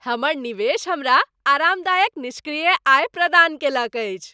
हमर निवेश हमरा आरामदायक निष्क्रिय आय प्रदान कयलक अछि।